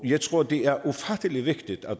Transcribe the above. jeg tror det er ufattelig vigtigt at